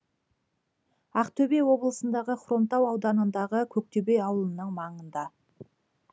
ақтөбе облысындағы хромтау ауданындағы көктөбе ауылының маңында